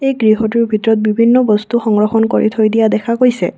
গৃহটোৰ ভিতৰত বিভিন্ন বস্তু সংৰক্ষণ কৰি থৈ দিয়া দেখা গৈছে।